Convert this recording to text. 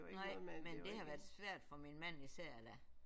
Nej men det har været svært for min mand især da